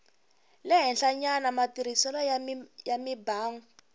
le henhlanyana matirhiselo ya mimbangu